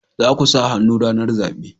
Za ku sa hannu ranar zabe